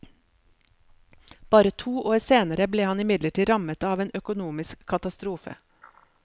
Bare to år senere ble han imidlertid rammet av en økonomisk katastrofe.